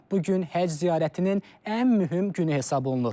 Bu gün həcc ziyarətinin ən mühüm günü hesab olunur.